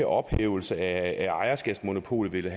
ophævelse af ejerskabsmonopolet vil